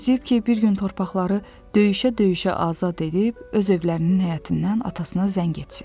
Gözləyib ki, bir gün torpaqları döyüşə-döyüşə azad edib öz evlərinin həyətindən atasına zəng etsin.